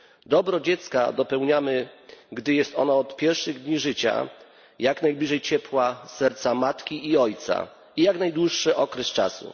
Dobro dziecka zapewniamy, gdy jest ono od pierwszych dni życia jak najbliżej ciepła serca matki i ojca, przez jak najdłuższy okres czasu.